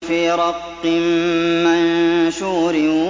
فِي رَقٍّ مَّنشُورٍ